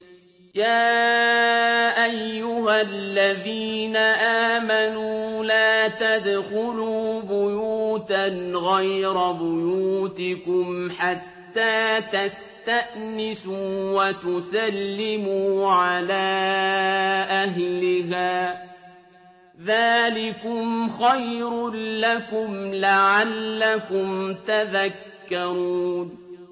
يَا أَيُّهَا الَّذِينَ آمَنُوا لَا تَدْخُلُوا بُيُوتًا غَيْرَ بُيُوتِكُمْ حَتَّىٰ تَسْتَأْنِسُوا وَتُسَلِّمُوا عَلَىٰ أَهْلِهَا ۚ ذَٰلِكُمْ خَيْرٌ لَّكُمْ لَعَلَّكُمْ تَذَكَّرُونَ